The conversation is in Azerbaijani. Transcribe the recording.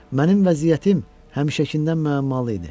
Mənim vəziyyətim həmişəkindən müəmmalı idi.